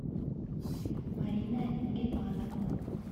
марина гильманова